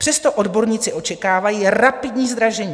Přesto odborníci očekávají rapidní zdražení.